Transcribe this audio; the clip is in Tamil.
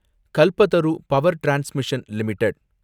Kalpataru power transmission limited